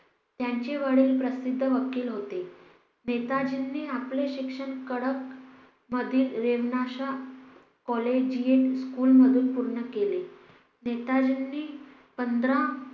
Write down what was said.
त्यांचे वडील प्रसिद्ध वकील होते नेताजींनी आपले शिक्षण कटक मधील लेम्नाश्या COLLEGE SCHOOL मधून पूर्ण केले नेताजींनी पंधरा